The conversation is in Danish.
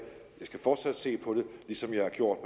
skal fortsat se på det ligesom jeg har gjort